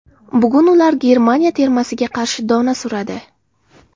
Bugun ular Germaniya termasiga qarshi dona suradi.